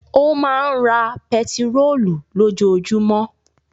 Ó máa ń ra pẹtírólù lójoojúmọ́.